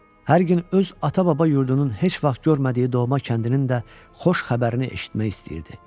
Hər gün öz ata-baba yurdunun heç vaxt görmədiyi doğma kəndinin də xoş xəbərini eşitmək istəyirdi.